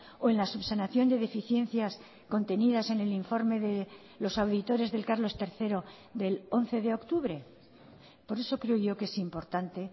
o en la subsanación de deficiencias contenidas en el informe de los auditores del carlos tercero del once de octubre por eso creo yo que es importante